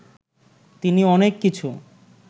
তিনি অনেক কিছু